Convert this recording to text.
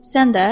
Sən də?